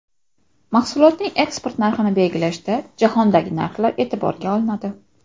Mahsulotning eksport narxini belgilashda jahondagi narxlar e’tiborga olinadi.